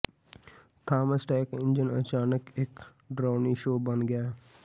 Thomas tank engine ਅਚਾਨਕ ਇੱਕ ਡਰਾਉਣੀ ਸ਼ੋਅ ਬਣ ਗਿਆ